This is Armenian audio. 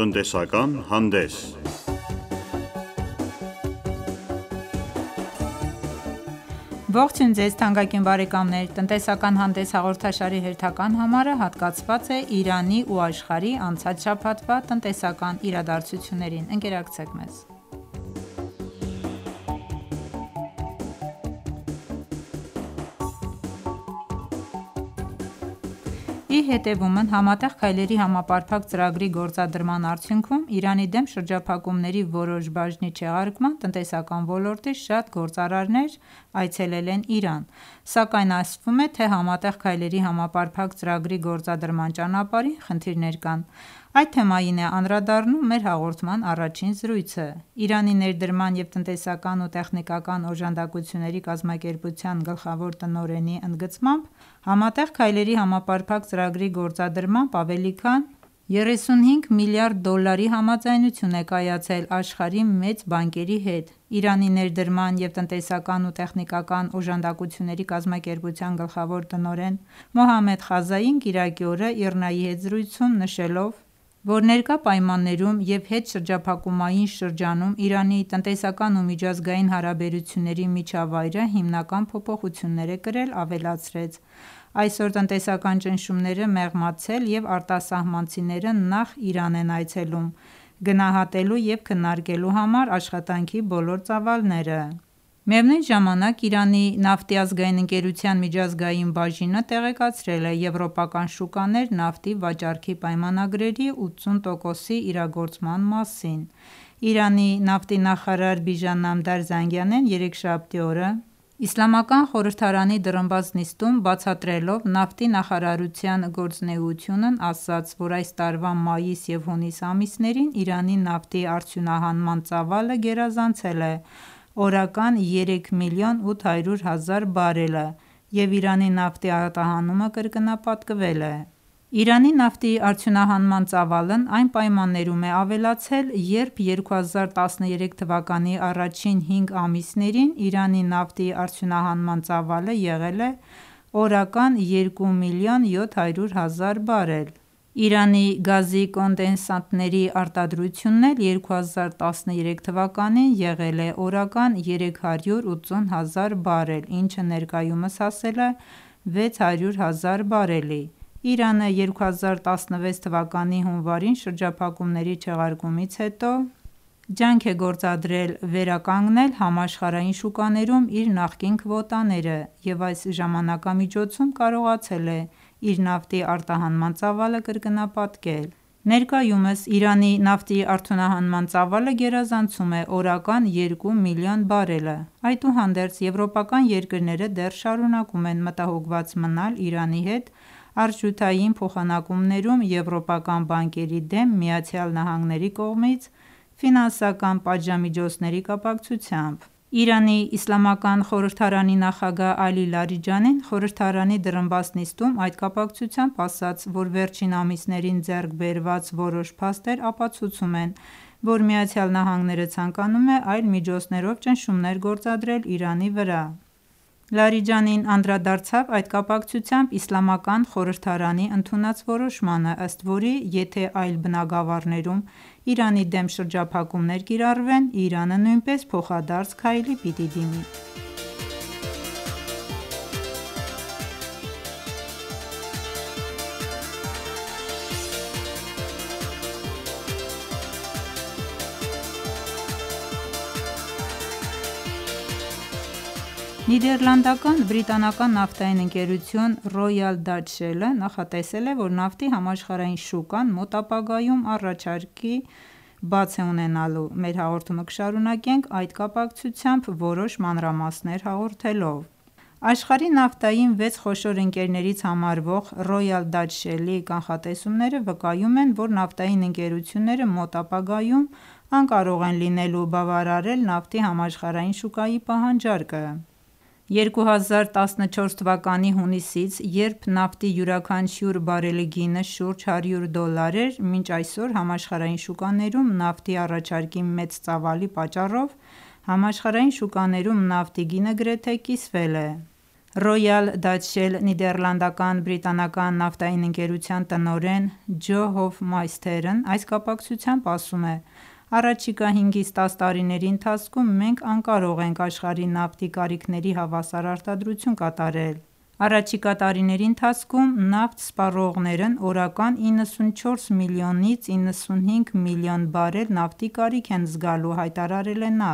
Տնտեսական հանդես Ողջույն Ձեզ թանկագին բարեկամներ: «Տնտեսական հանդես» հաղորդաշարի հերթական համարը հատկացված է Իրանի ու աշխարհի անցած շաբաթվա տնտեսական իրադարձություններին: Ընկերակցեք մեզ: Ի հետևումն Համատեղ քայլերի համապարփակ ծրագրի գործադրման արդյունքում Իրանի դեմ շրջափակումների որոշ բաժնի չեղարկման՝ տնտեսական ոլորտի շատ գործարարներ Իրան են այցելել: Սակայն ասվում է, թե Համատեղ քայլերի համապարփակ ծրագրի գործադրման ճանապարհին խնդիրներ կան: Այդ թեմային է անդրադառնում մեր հաղորդման առաջին զրույցը: Իրանի ներդրման և տնտեսական ու տեխնիկական օժանդակությունների կազմակերպության գլխավոր տնօրենի ընդգծմամբ Համատեղ քայլերի համապարփակ ծրագրի գործադրմամբ ավելի քան 35 միլիարդ դոլարի համաձայնություն է կայացել աշխարհի մեծ բանկերի հետ: Իրանի ներդրման և տնտեսական ու տեխնիկական օժանդակությունների կազմակերպության գլխավոր տնօրեն Մոհամմեդ Խազային կիրակի օրը ԻՌՆԱ-ի հետ զրույցում նշելով, որ ներկա պայմաններում և հետշրջափակումային շրջանում Իրանի տնտեսական ու միջազգային հարաբերությունների միջավայրը հիմնական փոփոխություններ է կրել, ավելացրեց. «Այսօր տնտեսական ճնշումները մեղմացել և արտասահմանցիները նախ Իրան են այցելում գնահատելու և քննարկելու համար աշխատանքի բոլոր ծավալները»: Միևնույն ժամանակ Իրանի նավթի ազգային ընկերության միջազգային բաժինը տեղեկացրել է եվրոպական շուկաներ նավթի վաճառքի պայմանագրերի 80 տոկոսի իրագործման մասին: Իրանի նավթի նախարար Բիժան Նամդար Զանգանեն երեքշաբթի օրը իսլամական խորհրդարանի դռնբաց նիստում բացատրելով նավթի նախարարության գործունեությունն, ասաց, որ այս տարվա մայիս և հունիս ամիսներին Իրանի նավթի արդյունահանման ծավալը գերազանցել է օրական երեք միլիոն 800 հազար բարելը և Իրանի նավթի արտահանումը կրկնապատկվել է: «Իրանի նավթի արդյունահանման ծավալն այն պայմաններում է ավելացել, երբ 2013 թվականի առաջին հինգ ամիսներին Իրանի նավթի արդյունահանման ծավալը եղել է օրական երու միլիոն 700 հազար բարել: Իրանի գազի կոնդենսատների արտադրությունն էլ 2013 թվականին եղել է օրական 380 հազար բարել, ինչը ներկայումս հասել է 600 հազար բարելի: Իրանը 2016 թվականի հունվարին շրջափակումների չեղարկումից հետո ջանք է գործադրել վերականգնել համաշխարհային շուկաներում իր նախկին քվոտաները և այս ժամանակամիջոցում կարողացել է իր նավթի արտահանման ծավալը կրկնապատկել: Ներկայումս Իրանի նավթի արտահանման ծավալը գերազանցում է օրական երկու միլիոն բարելը: Այդուհանդերձ եվրոպական երկրները դեռ շարունակում են մտահոգված մնալ Իրանի հետ արժութային փոխանակումներում եվրոպական բանկերի դեմ ԱՄՆ-ի կողմից ֆինանսական պատժամիջոցների կապակցությամբ: Իրանի իսլամական խորհրդարանի նախագահ Ալի Լարիջանին խորհրդարանի դռնբաց նիստում այդ կապակցությամբ ասաց, որ վերջին ամիսներին ձեռք բերված որոշ փաստեր ապացուցում են, որ ԱՄՆ-ն ցանկանում է այլ միջոցներով ճնշումներ գործադրել Իրանի վրա: Լարիջանին անդրադարձավ այդ կապակցությամբ իսլամական խորհրդարանի ընդունած որոշմանը, ըստ որի եթե այլ բնագավառներում Իրանի դեմ շրջափակումներ կիրառվեն Իրանը նույնպես փոխադարձ քայլի պիտի դիմի: Նիդերլանդական- բրիտանական նավթային ընկերություն «Ռոյալ Դաչ Շել»-ը նախատեսել է, որ նավթի համաշխարհային շուկան մոտ ապագայում առաջարկի բաց է ունենալու: Մեր հաղորդումը կշարունակենք այդ կապակցությամբ որոշ մանրամասներ հաղորդելով: Աշխարհի նավթային վեց խոշոր երկրներից համարվող «Ռոյալ Դաչ Շելը»-ի կանխատեսումները վկայում են, որ նավթային ընկերությունները մոտ ապագայում անկարող են լինելու բավարարել նավթի համաշխարհային շուկայի պահանջարկը: 2014 թվականի հունիսից երբ նավթի յուրաքանչյուր բարելի գինը շուրջ 100 դոլար էր, մինչ այսօր համաշխարհային շուկաներում նավթի առաջարկի մեծ ծավալի պատճառով համաշխարհային շուկաներում նավթի գինը գրեթե կիսվել է: «Ռոյալ Դաչ Շել» նիդերլանդական-բրիտանական նավթային ընկերության տնօրեն Ջո այս կապակցությամբ ասում է. «Առաջիկա 5-ից 10 տարիների ընթացքում մենք անկարող ենք աշխարհի նավթի կարիքների հավասար արտադրություն կատարել»: «Առաջիկա տարիների ընթացքում նավթ սպառողներն օրական 94 միլիոնից 95 միլիոն բարել նավթի կարիք են զգալու»,-հայտարարել է նա: